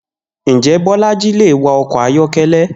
Njé̩ Bó̩lají lè wa o̩kò̩ ayó̩ké̩lé̩?